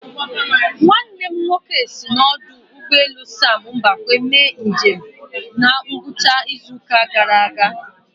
Nwannem nwoke si n'ọdụ ụgbọ elu sam mbakwe mee njem na ngwụcha izu ụka gara aga